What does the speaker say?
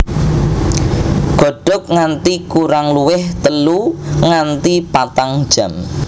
Godhog nganti kurang luwih telu nganti patang jam